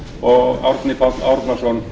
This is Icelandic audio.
ritari árni páll árnason